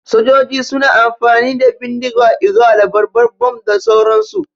Sojoji suna amfani da bindiga, igwa, labarbar, bom da sauran su